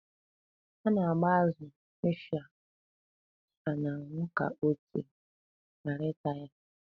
A na-agba azụ, ịsha, dgz n'anwụ ka ọtị ghara ịta ya.